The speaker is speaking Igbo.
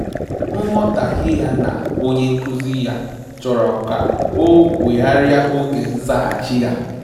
Nghọtahie ya na onye nkụzi ya chọrọ ka ọ wegharịa oge nzaghachi ya